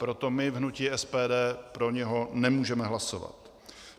Proto my v hnutí SPD pro něj nemůžeme hlasovat.